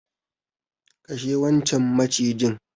Kashe wancan macijin.